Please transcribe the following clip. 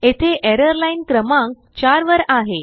येथे एरर लाईनक्रमांक 4 वर आहे